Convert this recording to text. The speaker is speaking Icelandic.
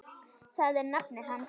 Það er nafnið hans.